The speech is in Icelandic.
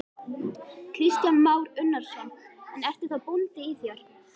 Kristján Már Unnarsson: En ertu þá bóndi í þér?